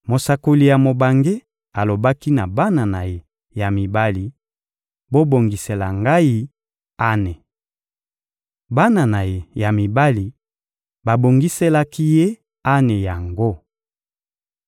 Mosakoli ya mobange alobaki na bana na ye ya mibali: — Bobongisela ngai ane! Bana na ye ya mibali babongiselaki ye ane yango.